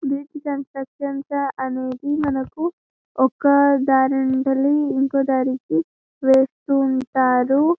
Bridge construction అనేది మనకు ఒక దారి నుండి ఇంకో దారికి వేస్తూ ఉంటారు.